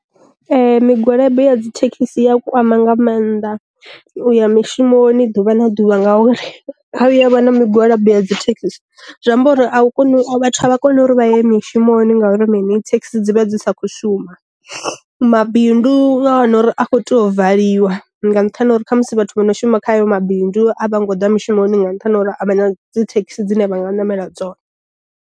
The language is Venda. Migwalabo ya dzi thekhisi iya kwama nga mannḓa uya mishumoni ḓuvha na ḓuvha nga uri ha vhuya a vha na migwalabo ya dzithekhisi, zwi amba uri a u koni vhathu a vha koni uri vha ye mishumoni ngauri mini thekhisi dzi vha dzi sa kho shuma. Ma bindu nga wana uri a kho tea u valiwa nga nṱhani ha uri kha musi vhathu vho no shuma kha ayo mabindu a vho ngo ḓa mushumoni nga nṱhani ha uri a vha na dzi thekhisi dzine vha nga namela dzone.